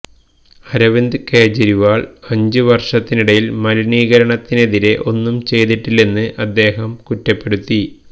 അരവിന്ദ് കെജ്രിവാൾ അഞ്ച് വർഷത്തിനിടയിൽ മലിനീകരണത്തിനെതിരെ ഒന്നും ചെയ്തിട്ടില്ലെന്ന് അദ്ദേഹം കുറ്റപ്പെടുത്തി